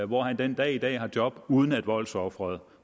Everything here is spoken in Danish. hvor han den dag i dag har job uden at voldsofferet